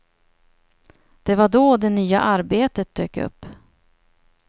Det var då det nya arbetet dök upp.